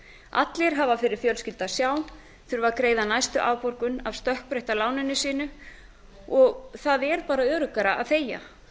allir hafa fyrir fjölskyldu að sjá þurfa að greiða næstu afborgun af stökkbreytta láninu sínu og það er bara öruggara að þegja